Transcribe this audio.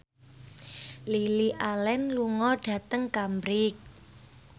Lily Allen lunga dhateng Cambridge